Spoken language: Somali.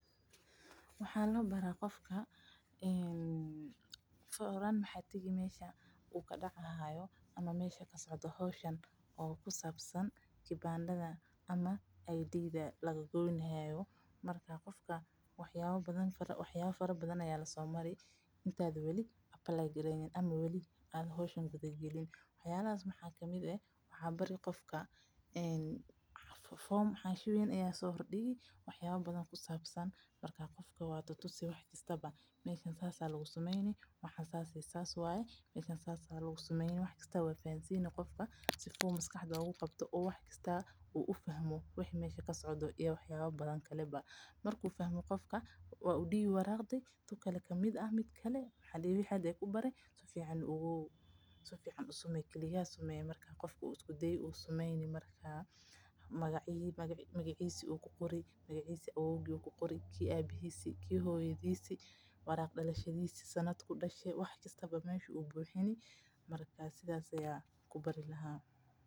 Waxaa labaraa qofka horaan waxa tagi meesha aay kasocoto howshan oo ku sabsan kabandaha laga goynayo marka hore wax yaaba badan ayaa lasoo sameyni inta weli la imanin foom weyn ayaa udiibi waa tusi si uu ugarto sida loo sameeyo kadib mid kale ayaad udiibi buuxi ayaad dihi wax kasta ayuu ku qori magaciisa meesha uu ku dashte saas ayaa loo ku bari lahaa.